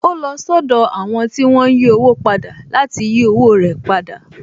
Ó lọ sọ́dọ̀ àwọn tí wón ń yí owó padà láti yí owó rẹ̀ padà